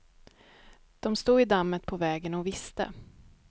De stod i dammet på vägen och visste.